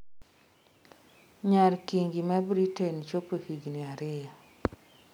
Nyar kingi mar Britain chopo higni ariyo